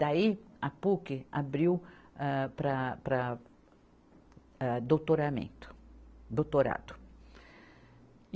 Daí a Puc abriu, âh, para, para, âh, doutoramento, doutorado E.